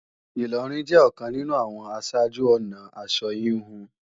Ìlọrin jẹ́ ọ̀kan nínú àwọn aṣáájú-ọnà aṣọ híhun